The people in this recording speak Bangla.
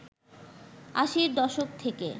আশির দশক থেকে